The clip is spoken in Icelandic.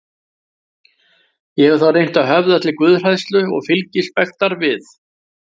Ég hef þá reynt að höfða til guðhræðslu, og fylgispektar við